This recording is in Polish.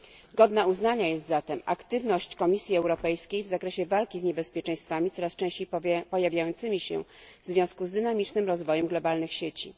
Godna uznania jest zatem aktywność Komisji Europejskiej w zakresie walki z niebezpieczeństwami coraz częściej pojawiającymi się w związku z dynamicznym rozwojem globalnych sieci.